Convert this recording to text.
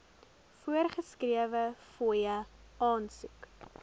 voorgeskrewe fooie aansoek